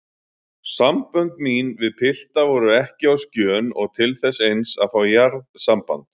Sambönd mín við pilta voru ekki á skjön og til þess eins að fá jarðsamband.